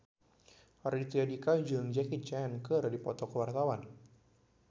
Raditya Dika jeung Jackie Chan keur dipoto ku wartawan